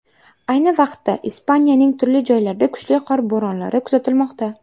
Ayni vaqtda Ispaniyaning turli joylarida kuchli qor bo‘ronlari kuzatilmoqda.